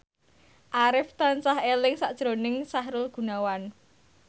Arif tansah eling sakjroning Sahrul Gunawan